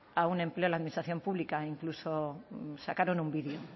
a un empleo en la administración pública incluso sacaron un vídeo